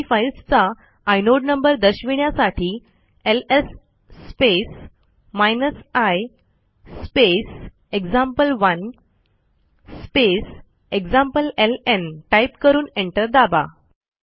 दोन्ही फाईल्सचा inode number दर्शविण्यासाठी LS space i space example one space एक्झाम्प्लेलं टाईप करून एंटर दाबा